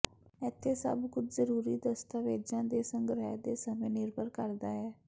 ਇੱਥੇ ਸਭ ਕੁਝ ਜ਼ਰੂਰੀ ਦਸਤਾਵੇਜ਼ਾਂ ਦੇ ਸੰਗ੍ਰਿਹ ਦੇ ਸਮੇਂ ਨਿਰਭਰ ਕਰਦਾ ਹੈ